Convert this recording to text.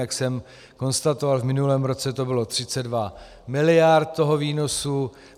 Jak jsem konstatoval, v minulém roce to bylo 32 miliard toho výnosu.